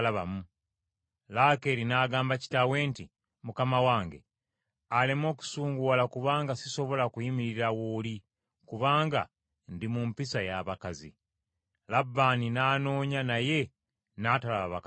Laakeeri n’agamba kitaawe nti, “Mukama wange aleme okusunguwala kubanga sisobola kuyimirira w’oli kubanga ndi mu mpisa y’abakazi.” Labbaani n’anoonya naye n’atalaba bakatonda be.